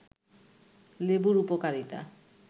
লেবুর উপকারিতা